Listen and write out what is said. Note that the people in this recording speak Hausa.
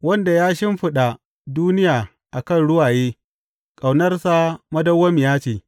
Wanda ya shimfiɗa duniya a kan ruwaye, Ƙaunarsa madawwamiya ce.